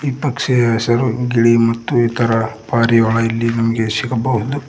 ಪಕ್ಷಿಯ ಹೆಸರು ಗಿಳಿ ಮತ್ತು ಇತರ ಪಾರಿವಾಳ ಇಲ್ಲಿ ನಮಗೆ ಸಿಗಬಹುದು.